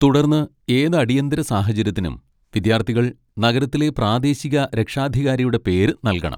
തുടർന്ന്, ഏത് അടിയന്തര സാഹചര്യത്തിനും വിദ്യാർത്ഥികൾ നഗരത്തിലെ പ്രാദേശിക രക്ഷാധികാരിയുടെ പേര് നൽകണം.